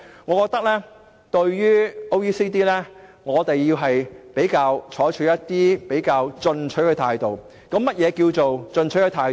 我認為對於經合組織，我們應該採取較進取的態度，至於何謂較進取的態度呢？